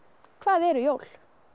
hvað eru jól